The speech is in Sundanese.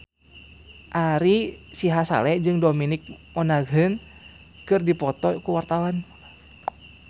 Ari Sihasale jeung Dominic Monaghan keur dipoto ku wartawan